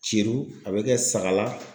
Ceru, a bɛ kɛ Sagala.